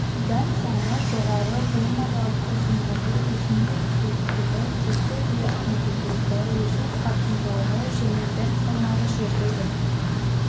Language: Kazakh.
дән саны жоғары буынаралық ұзындығы өсімдік биіктігі тұзды ерітіндідегі өсу қарқындылығы жердегі дән салмағы жердегі